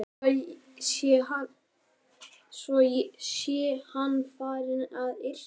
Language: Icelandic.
Svo sé hann farinn að yrkja.